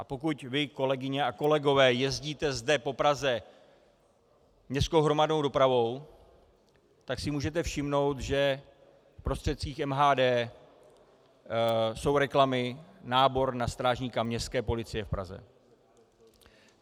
A pokud vy, kolegyně a kolegové, jezdíte zde po Praze městskou hromadnou dopravou, tak si můžete všimnout, že v prostředcích MHD jsou reklamy, nábor na strážníka Městské policie v Praze.